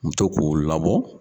N mu to k'u labɔ.